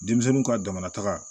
Denmisɛnninw ka damanata